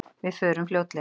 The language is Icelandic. Við förum fljótlega